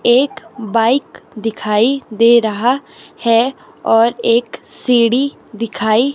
एक बाइक दिखाई दे रहा है और एक सीढ़ी दिखाई--